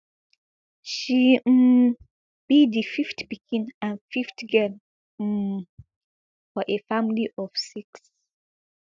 she um be di fifth pikin and fifth girl um for a family of six